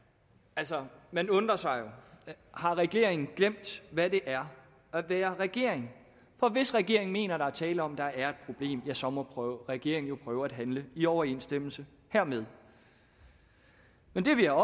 altså man undrer sig jo har regeringen glemt hvad det er at være regering for hvis regeringen mener at der er tale om at der er problem ja så må regeringen prøve at handle i overensstemmelse hermed men det vi har